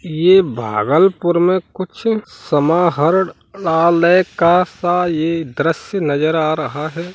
ये भागलपुर में कुछ समाहरणालय का सा ये दृश्य नजर आ रहा है।